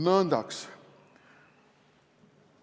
Nõndaks.